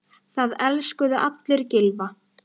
Það elskuðu allir Gylfa.